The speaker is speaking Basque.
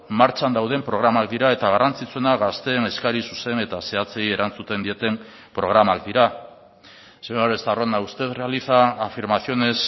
martxan dauden programak dira eta garrantzitsuena gazteen eskari zuzen eta zehatzei erantzuten dieten programak dira señor estarrona usted realiza afirmaciones